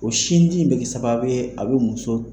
O sindi in bɛ kɛ sababu ye a bɛ muso